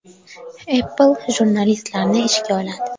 Apple jurnalistlarni ishga oladi.